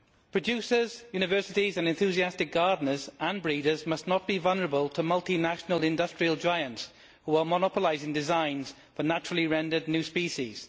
Producers, universities and enthusiastic gardeners and breeders must not be vulnerable to multinational industrial giants who are monopolising designs for naturally rendered new species.